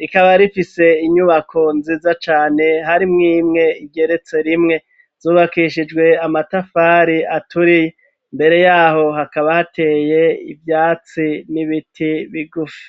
Rikaba rifise inyubako nziza cane hari mwimwe igeretse rimwe zubakishijwe amatafari aturiye . Mbere yaho hakaba hateye ibyatsi n'ibiti bigufi.